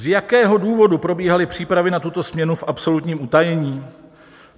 Z jakého důvodu probíhaly přípravy na tuto směnu v absolutním utajení?